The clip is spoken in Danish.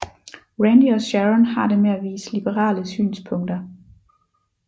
Randy og Sharon har det med at vise liberale synspunkter